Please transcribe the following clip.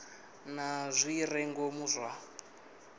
na zwi re ngomu zwa